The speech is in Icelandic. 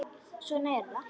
Svona er þetta.